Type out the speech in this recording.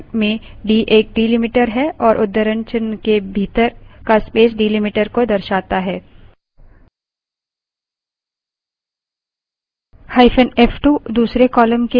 यहाँ cut command में d एक delimiter है और उद्धरणचिन्ह के भीतर का space delimiter को दर्शाता है